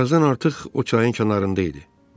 Birazdan artıq o çayın kənarında idi.